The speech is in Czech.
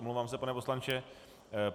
Omlouvám se, pane poslanče.